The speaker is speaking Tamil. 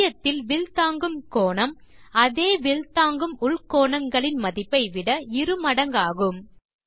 மையத்தில் வில் தாங்கும் கோணம் அதே வில் தாங்கும் உள்கோணங்களின் மதிப்பை விட இரு மடங்காகும்